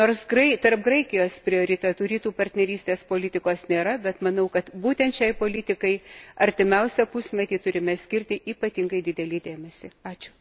Ir pabaigai, nors tarp Graikijos prioritetų Rytų partnerystės politikos nėra, bet manau, kad būtent šiai politikai artimiausią pusmetį turime skirti ypatingai didelį dėmesį.